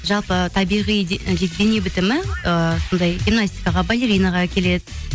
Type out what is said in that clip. жалпы табиғи дене бітімі ыыы сондай гимнастикаға балеринаға келеді